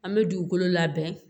An bɛ dugukolo labɛn